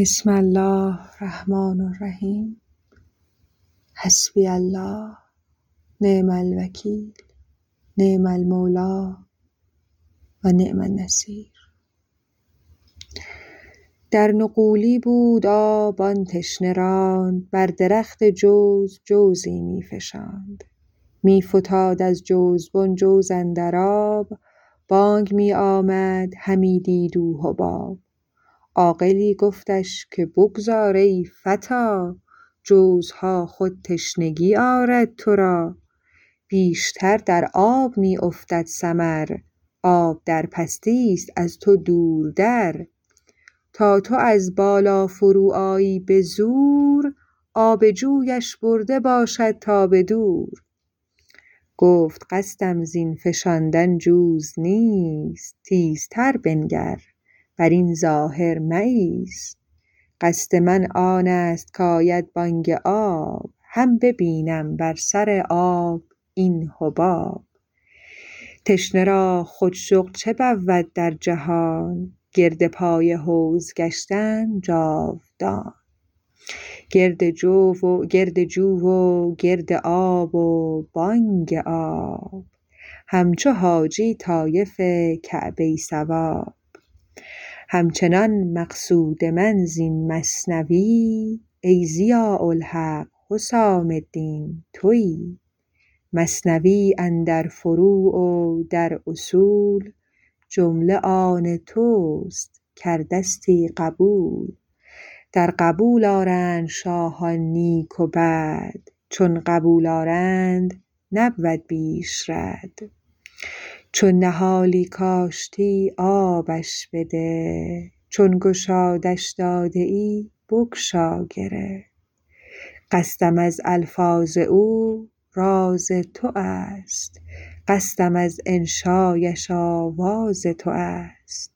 در نغولی بود آب آن تشنه راند بر درخت جوز جوزی می فشاند می فتاد از جوزبن جوز اندر آب بانگ می آمد همی دید او حباب عاقلی گفتش که بگذار ای فتی جوزها خود تشنگی آرد ترا بیشتر در آب می افتد ثمر آب در پستیست از تو دور در تا تو از بالا فرو آیی به زور آب جویش برده باشد تا به دور گفت قصدم زین فشاندن جوز نیست تیزتر بنگر برین ظاهر مه ایست قصد من آنست که آید بانگ آب هم ببینم بر سر آب این حباب تشنه را خود شغل چه بود در جهان گرد پای حوض گشتن جاودان گرد جو و گرد آب و بانگ آب هم چو حاجی طایف کعبه صواب هم چنان مقصود من زین مثنوی ای ضیاء الحق حسام الدین توی مثنوی اندر فروع و در اصول جمله آن تست کردستی قبول در قبول آرند شاهان نیک و بد چون قبول آرند نبود بیش رد چون نهالی کاشتی آبش بده چون گشادش داده ای بگشا گره قصدم از الفاظ او راز توست قصدم از انشایش آواز توست